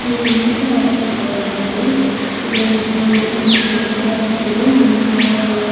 ಉಂದು city hospital ಪಂದ್ ಪಿದಾಯ್ಡ್ ಒಂಜಿ ರಡ್ಡ್ ಚಯರ್ ದೀತೆರ್ ಮೇಬಿ ಆರ್ --